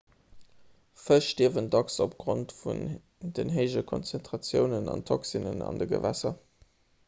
fësch stierwen dacks opgrond vun den héije konzentratioune vun toxinen an de gewässer